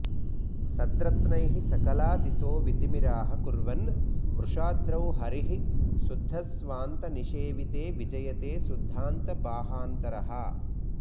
सद्रत्नैः सकला दिशो वितिमिराः कुर्वन् वृषाद्रौ हरिः शुद्धस्वान्तनिषेविते विजयते शुद्धान्तबाहान्तरः